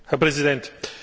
Herr Präsident!